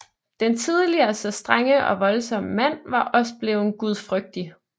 Den tidligere så strenge og voldsomme mand var også bleven gudfrygtig